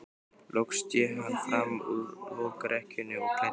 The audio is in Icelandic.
Loks sté hann fram úr lokrekkjunni og klæddist.